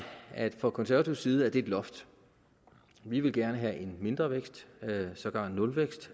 at set fra konservativ side er det et loft vi vil gerne have en mindre vækst sågar nulvækst